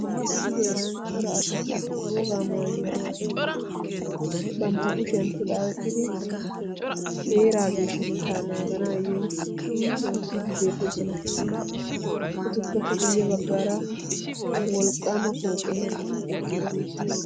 Issi heeran cora asati wogaa maayuwa maayidi banttaa kushshiyan puxaa oyqqidi heeraa geshshatetta naganaayo oottidi beettoosona. Etuppekka guye baggaara wolqqaama pooqqe eqqidi beettees.